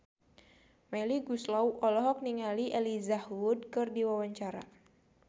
Melly Goeslaw olohok ningali Elijah Wood keur diwawancara